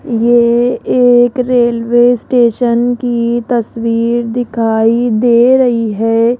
ये एक railway station की तस्वीर दिखाई दे रही है।